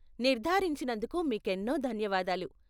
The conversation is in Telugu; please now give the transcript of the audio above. నిర్దారించినందుకు మీకేన్నో ధన్యవాదాలు.